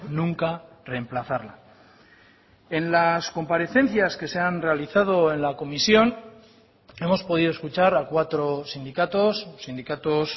nunca reemplazarla en las comparecencias que se han realizado en la comisión hemos podido escuchar a cuatro sindicatos sindicatos